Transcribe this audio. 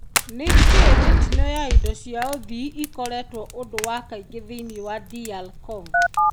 Nĩ kĩĩ mĩtino ya indo cia ũthii ekoretwo ũndũ wa kaingĩ thĩinĩ wa DR Congo ?